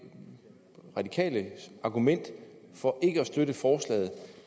radikales argument for ikke at støtte forslaget